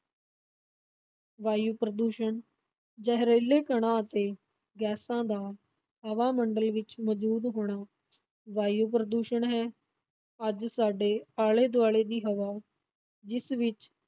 ਵਾਯੂ ਪ੍ਰਦੂਸ਼ਣ, ਜ਼ਹਿਰੀਲੇ ਕਣਾਂ ਅਤੇ ਗੈਸਾਂ ਦਾ ਹਵਾ-ਮੰਡਲ ਵਿਚ ਮੌਜੂਦ ਹੋਣਾ ਵਾਯੂ ਪ੍ਰਦੂਸ਼ਣ ਹੈ, ਅੱਜ ਸਾਡੇ ਆਲੇ-ਦੁਆਲੇ ਦੀ ਹਵਾ, ਜਿਸ ਵਿਚ